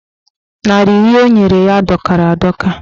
Narị iri o nyere ya dọkara adọka.